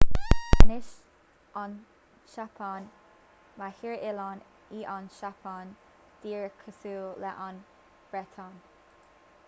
anois an tseapáin ba thír oileáin í an tseapáin díreach cosúil leis an mbreatain